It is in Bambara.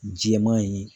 Jɛman ye